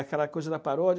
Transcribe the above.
aquela coisa da paródia.